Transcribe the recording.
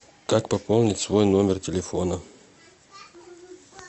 как пополнить свой номер телефона